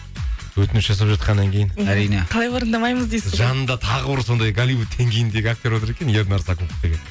өтініш жасап жатқаннан кейін әрине қалай орындамаймыз дейсіз ғой жанында тағы бір сондай голливуд деңгейіндегі актер отыр екен ернар сакупов деген